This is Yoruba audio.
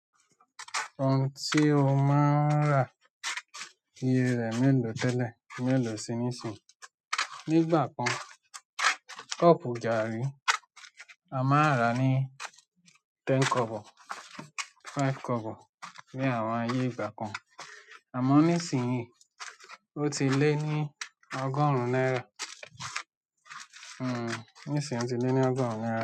Ohun tí o máa ń rà iye rẹ̀ mélòó tẹ́lẹ̀, mélòó sí ní sìn. Nígbà kan, cup garri a máa rà á ní ten kobo, five kobo ní àwọn ayé ìgbà kan. Àmọ́ nísìnyí ó ti lé ní ọgọ́rùn-ún náírà. Nísinsìnyí ó ti lé ní ọgọ́rùn-ún náírà.